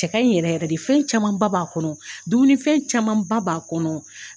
Cɛ ka ɲi yɛrɛ yɛrɛ de fɛn camanba b'a kɔnɔ dumuni camanba b'a kɔnɔ